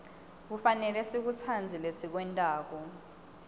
kufanele sikutsandze lesikwentako